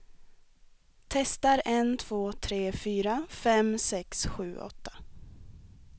Testar en två tre fyra fem sex sju åtta.